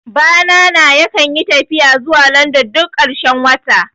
Bana na yakan yi tafiya zuwa London duk ƙarshen wata